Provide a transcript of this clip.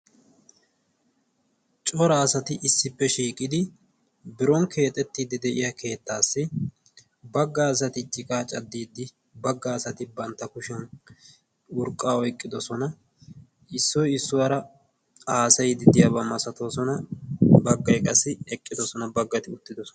cora asati issippe shiiqidi baga asati urqaa oyqqidi baga asati urqaa oyqidosona, issoy issuwara haasayoosona, bagay eqqidosona, bagay uttidosona.